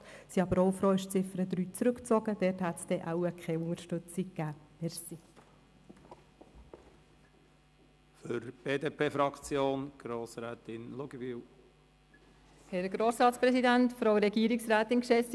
Wir sind aber froh über den Rückzug von Ziffer 3, für die es von uns wohl keine Unterstützung gegeben hätte.